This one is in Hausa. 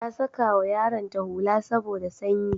Ta sakawa yaronta hula saboda sanyi.